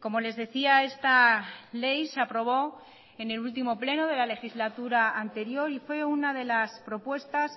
como les decía esta ley se aprobó en el último pleno de la legislatura anterior y fue una de las propuestas